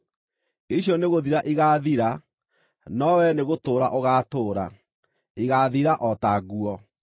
Icio nĩgũthira igaathira, no wee nĩgũtũũra ũgaatũũra; igaathira o ta nguo.